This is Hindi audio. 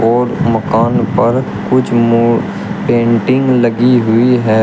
और मकान पर कुछ मो पेंटिंग लगी हुई है।